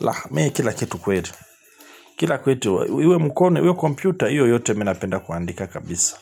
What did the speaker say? La, mie kila kitu kwetu, kila kwetu, iwe mkone, iwe kompyuta, iyo yote mi napenda kuandika kabisa.